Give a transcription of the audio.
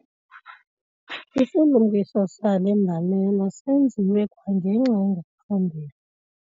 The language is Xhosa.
Isilumkiso sale mbalela senziwe kwangenxa engaphambili.